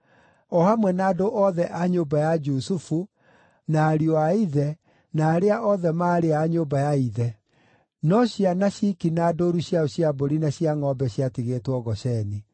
o hamwe na andũ othe a nyũmba ya Jusufu, na ariũ a ithe, na arĩa othe maarĩ a nyũmba ya ithe. No ciana ciki na ndũũru ciao cia mbũri na cia ngʼombe ciatigĩtwo Gosheni.